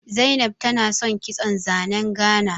Zainab tana san kitson zanen Gana